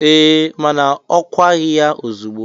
Eee, mana a kwaghị ya ozigbo